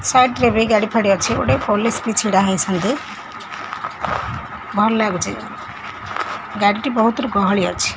Side side ରେ ବି ଗାଡ଼ି ଫାଡ଼ି ଅଛି ଗୋଟେ ପୋଲିସ ବି ଛିଡ଼ା ହେଇଛନ୍ତି ଭଲ ଲାଗୁଚି ଗାଡ଼ିଟି ବହୁତୁରୁ ଗହଳି ଅଛି।